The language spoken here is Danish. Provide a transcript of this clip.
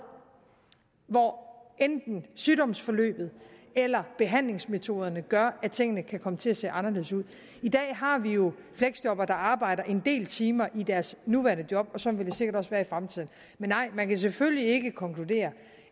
hvor enten sygdomsforløbet eller behandlingsmetoderne gør at tingene kan komme til at se anderledes ud i dag har vi jo fleksjobbere der arbejder en del timer i deres nuværende job og sådan vil det sikkert også være i fremtiden men nej man kan selvfølgelig ikke konkludere